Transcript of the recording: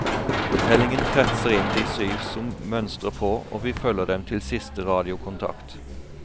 Fortellingen kretser inn de syv som mønstrer på, og vi følger dem til siste radiokontakt.